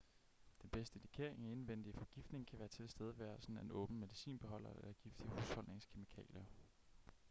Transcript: den bedste indikering af indvendig forgiftning kan være tilstedeværelsen af en åben medicinbeholder eller giftige husholdningskemikalier